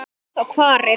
Hvað og hvar er heima?